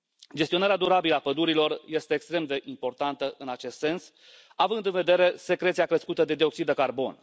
Gestionarea durabilă a pădurilor este extrem de importantă în acest sens, având în vedere secreția crescută de dioxid de carbon.